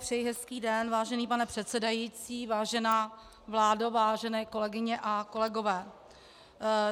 Přeji hezký den, vážený pane předsedající, vážená vládo, vážené kolegyně a kolegové.